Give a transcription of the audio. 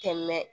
Kɛmɛ